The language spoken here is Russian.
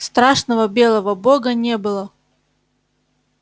страшного белого бога не было